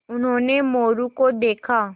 उन्होंने मोरू को देखा